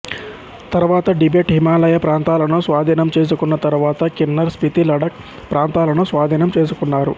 తరువాత టిబెట్ హిమాలయ ప్రాంతాలను స్వాధీనం చేసుకున్న తరువాత కిన్నర్ స్పితి లడక్ ప్రాంతాలను స్వాధీనం చేసుకున్నారు